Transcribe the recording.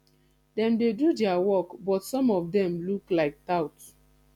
dem dey do their work but some of dem look like tout